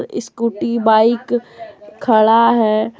Scooty bike खड़ा है ।